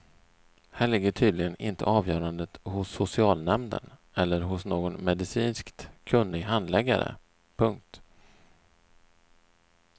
Här ligger tydligen inte avgörandet hos socialnämnden eller hos någon medicinskt kunnig handläggare. punkt